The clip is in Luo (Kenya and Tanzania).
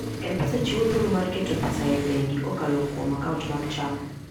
M-Pesa chiwo thuolo mar keto pesa e bengi kokalo kuom akaunt mag Chama.